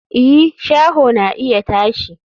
i, shaho na iya tashi